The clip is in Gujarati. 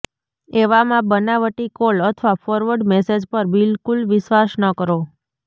એવામાં બનાવટી કોલ અથવા ફોરવર્ડ મેસેજ પર બિલકુલ વિશ્વાસ ન કરો